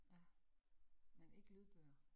Ja, men ikke lydbøger